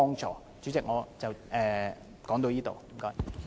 主席，我謹此陳辭，多謝。